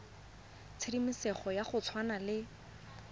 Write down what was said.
tshedimosetso ya go tshwana le